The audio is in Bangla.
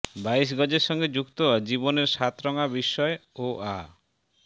বাইশ গজের সঙ্গে যুক্ত হয় জীবনের সাতরঙা বিস্ময় ও আ